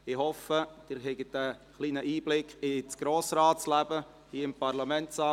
Ich hoffe, Sie erhalten einen kleinen Einblick in das Leben des Grossen Rates hier im Parlamentssaal.